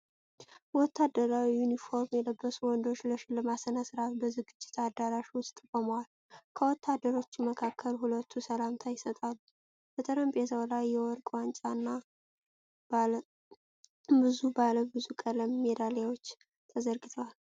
የወታደራዊ ዩኒፎርም የለበሱ ወንዶች ለሽልማት ሥነ-ሥርዓት በዝግጅት አዳራሽ ውስጥ ቆመዋል:: ከወታደሮቹ መካከል ሁለቱ ሰላምታ ይሰጣሉ:: በጠረጴዛው ላይ የወርቅ ዋንጫና ብዙ ባለብዙ ቀለም ሜዳሊያዎች ተዘርግተዋል::